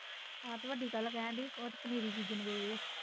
ਹਾਂ ਤੇ ਵੱਡੀ ਕੱਲ ਕਹਿਣ ਡਈ ਸੀ ਉਹ ਤੇ ਪਨੀਰੀ ਬੀਜਣ ਗਏ ਐ